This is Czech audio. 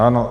Ano.